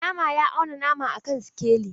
Mai nama ya auna nama a kan sikeli.